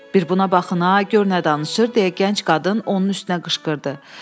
Bir buna baxın, gör nə danışır deyə gənc qadın onun üstünə qışqırdı.